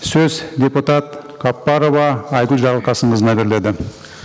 сөз депутат қаппарова айгүл жарылқасынқызына беріледі